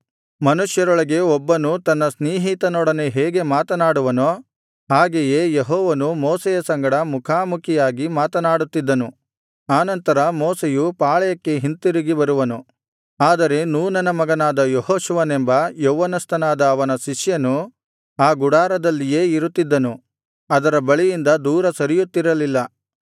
ಮನುಷ್ಯರೊಳಗೆ ಒಬ್ಬನೂ ತನ್ನ ಸ್ನೇಹಿತನೊಡನೆ ಹೇಗೆ ಮಾತನಾಡುವನೋ ಹಾಗೆಯೇ ಯೆಹೋವನು ಮೋಶೆಯ ಸಂಗಡ ಮುಖಾಮುಖಿಯಾಗಿ ಮಾತನಾಡುತ್ತಿದ್ದನು ಆನಂತರ ಮೋಶೆಯು ಪಾಳೆಯಕ್ಕೆ ಹಿಂತಿರುಗಿ ಬರುವನು ಆದರೆ ನೂನನ ಮಗನಾದ ಯೆಹೋಶುವನೆಂಬ ಯೌವನಸ್ಥನಾದ ಅವನ ಶಿಷ್ಯನು ಆ ಗುಡಾರದಲ್ಲಿಯೇ ಇರುತ್ತಿದ್ದನು ಅದರ ಬಳಿಯಿಂದ ದೂರ ಸರಿಯುತ್ತಿರಲಿಲ್ಲ